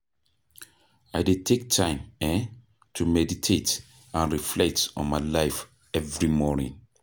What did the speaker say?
I dey take time um to meditate and reflect on my life every morning.